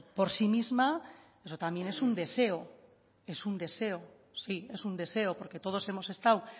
por sí misma eso también es un deseo es un deseo sí es un deseo porque todos hemos estado